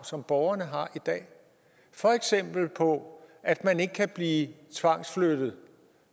som borgerne har i dag for eksempel på at man ikke kan blive tvangsflyttet